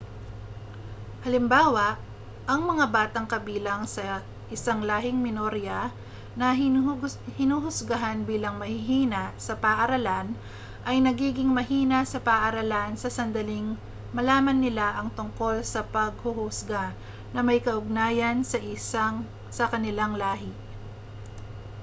halimbawa ang mga batang kabilang ng isang lahing minorya na hinuhusgahan bilang mahihina sa paaralan ay nagiging mahina sa paaralan sa sandaling malaman nila ang tungkol sa panghuhusga na may kaugnayan sa kanilang lahi